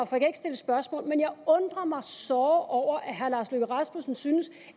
kan ikke stille spørgsmål men jeg undrer mig såre over at herre lars løkke rasmussen synes